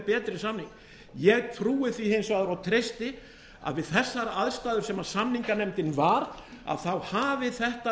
betri samning ég trúi því hins vegar og treysti að við þessar aðstæður sem samninganefndin var að þá hafi þetta